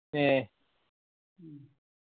ഏ